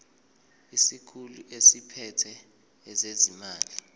isikhulu esiphethe ezezimali